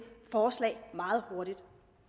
forslag meget hurtigt